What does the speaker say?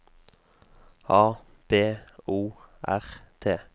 A B O R T